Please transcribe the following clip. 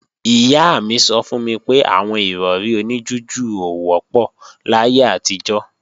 Ìyá mi sọ fún mi pé àwọn Ìrọ̀rí oní jújù ò wọ́pọ̀ láyé àtijọ́